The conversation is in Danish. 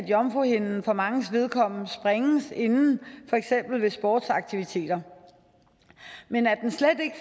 jomfruhinden for manges vedkommende sprænges inden for eksempel ved sportsaktiviteter men at den slet ikke